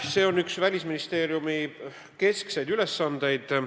See on üks Välisministeeriumi keskseid ülesandeid.